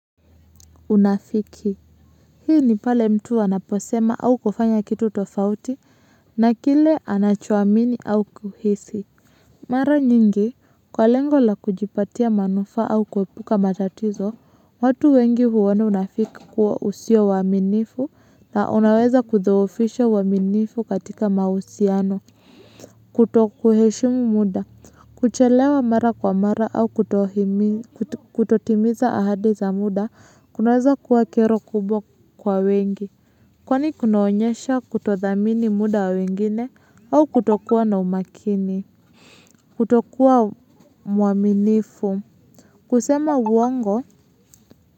Unafiki hii ni pale mtu anaposema au kufanya kitu tofauti na kile anachoamini au kuhisi mara nyingi kwa lengo la kujipatia manufaa au kuepuka matatizo watu wengi huona unafiki kuwa usio waaminifu na unaweza kudhoofisha uaminifu katika mahusiano kutokuheshimu muda. Kuchelewa mara kwa mara au kutotimiza ahadi za muda kunaweza kuwa kero kubwa kwa wengi. Kwani kunaonyesha kutothamini muda wa wengine au kutokuwa na umakini. Kutokuwa muaminifu. Kusema uongo.